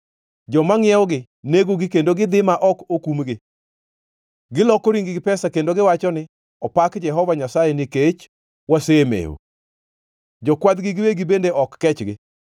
Joma ngʼiewogi negogi kendo gidhi ma ok okumgi. Giloko ring-gi pesa kendo giwacho ni, ‘Opak Jehova Nyasaye nikech wasemewo!’ Jokwadhgi giwegi bende ok kechgi.”